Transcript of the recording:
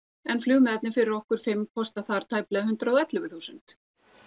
en flugmiðarnir fyrir okkur fimm kosta þar tæplega hundrað og ellefu þúsund